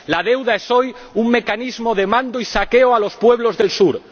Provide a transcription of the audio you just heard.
La deuda es hoy un mecanismo de mando y saqueo a los pueblos del sur.